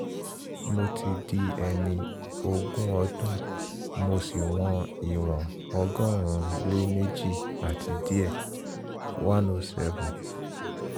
mo ti di ẹni ogún ọdún mo sì wọn ìwọ̀n ọgọ́rùn-ún-lé-méje àti díẹ̀ (107